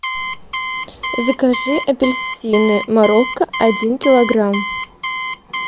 закажи апельсины марокко один килограмм